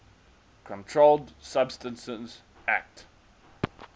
controlled substances acte